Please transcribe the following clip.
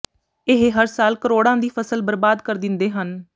ਇਹ ਹਰ ਸਾਲ ਕਰੋੜਾਂ ਦੀ ਫ਼ਸਲ ਬਰਬਾਦ ਕਰ ਦਿੰਦੇ ਹਨ